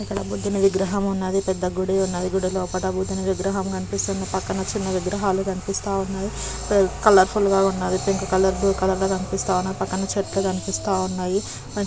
ఇక్కడ బుద్ధిని విగ్రహం ఉన్నది పెద్ద గుడి ఉన్నది గుడి లోపల బుద్ధిని విగ్రహం గనిపిస్తుంది పక్కన చిన్ని విగ్రహలు గనిపిస్తున్నాయి పె -- కలర్ఫుల్ గా ఉన్నది పింక్ కలర్ బ్ల్యూ కలర్ గా గనిపిస్తా ఉన్నది పక్కన చెట్లు గనిపిస్తా ఉన్నాయి.